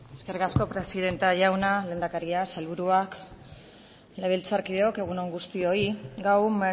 eskerrik asko presidente andrea lehendakaria sailburuak legebiltzarkideok egun on guztioi gaur